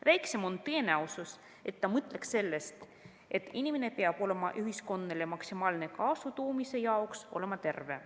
Väiksem on tõenäosus, et ta mõtleks sellest, et inimene peab olema ühiskonnale maksimaalse kasu toomise jaoks terve.